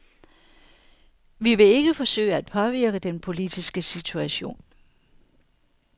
Vi vil ikke forsøge at påvirke den politiske situation.